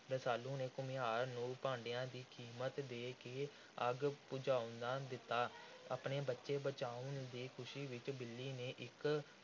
ਰਸਾਲੂ ਨੇ ਘੁਮਿਆਰ ਨੂੰ ਭਾਂਡਿਆਂ ਦੀ ਕੀਮਤ ਦੇ ਕੇ ਅੱਗ ਬੁਝਵਾ ਦਿੱਤੀ। ਆਪਣੇ ਬੱਚੇ ਬਚਾਉਣ ਦੀ ਖੁਸ਼ੀ ਵਿੱਚ ਬਿੱਲੀ ਨੇ ਇਕ